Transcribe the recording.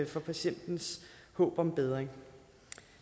for patientens håb om bedring